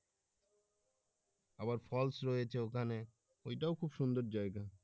আবার falls রয়েছে ওখানে ওইটাও খুব সুন্দর জায়গা।